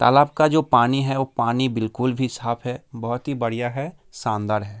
तालाब का जो पानी है वो पानी बिलकुल भी साफ़ है | बहुत ही बढ़िया है शानदार है ।